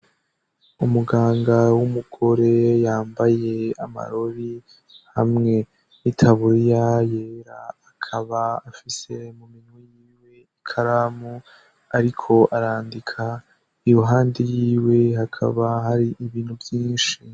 Umuganga w'umugore yambaye amarori hamwe n'itaburiya yera, akaba afise mu minwe yiwe ikaramu ariko arandika. Iruhande yiwe hakaba hari ibintu vyinshi.